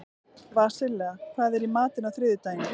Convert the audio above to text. Vasilia, hvað er í matinn á þriðjudaginn?